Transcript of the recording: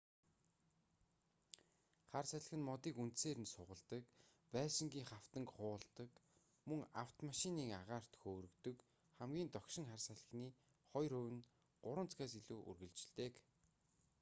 хар салхи нь модыг үндсээр нь сугалдаг байшингын хавтанг хуулдаг мөн авмомашиныг агаарт хөөргөдөг хамгийн догшин хар салхины хоёр хувь нь 3 цагаас илүү үргэлжилдэг